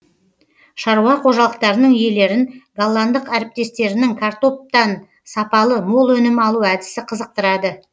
шаруа қожалықтарының иелерін голландық әріптестерінің картоптан сапалы мол өнім алу әдісі қызықтырады